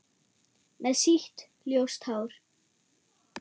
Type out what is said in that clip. Með sítt, ljóst hár.